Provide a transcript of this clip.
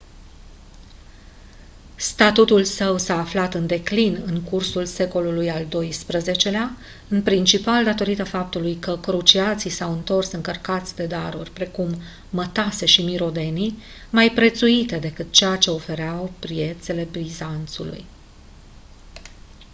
statutul său s-a aflat în declin în cursul secolului al doisprezecelea în principal datorită faptului că cruciații s-au întors încărcați de daruri precum mătase și mirodenii mai prețuite decât ceea ce ofereau piețele bizanțului